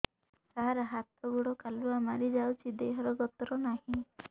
ସାର ହାତ ଗୋଡ଼ କାଲୁଆ ମାରି ଯାଉଛି ଦେହର ଗତର ନାହିଁ